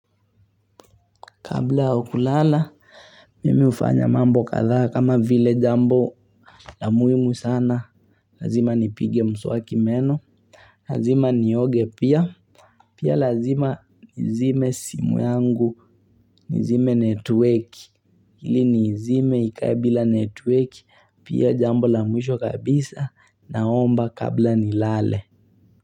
Kabla ya kulala, mimi hufanya mambo kadhaa kama vile jambo la muhimu sana. Lazima nipige mswaki meno. Lazima nioge pia. Pia lazima nizime simu yangu. Nizime network. Ili niizime ikae bila network. Pia jambo la mwisho kabisa naomba kabla nilale.